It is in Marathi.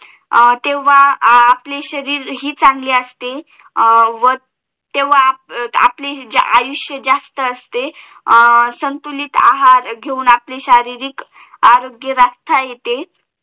तेव्हा आपले शरीर हि चांगले असते तेव्हा आपले आयुष्य जास्त असते संतुलित आहार घेऊन आपले शारीरिक आरोग्य राखता येते